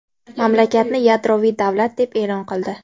mamlakatni yadroviy davlat deb e’lon qildi.